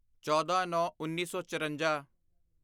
ਚੌਦਾਂਨੌਂਉੱਨੀ ਸੌ ਚਰੰਜਾ